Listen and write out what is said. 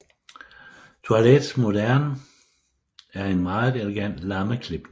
Toilette moderne er en mere elegant lammeklipning